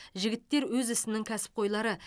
жігіттер өз ісінің кәсіпқойлары